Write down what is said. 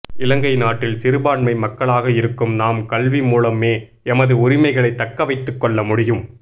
இலங்கை நாட்டில் சிறுபான்மை மக்களாக இருக்கும் நாம் கல்வி மூலமே எமது உரிமைகளை தக்க வைத்துக்கொள்ள முடியும்